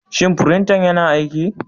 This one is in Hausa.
Shin firinta yana aiki?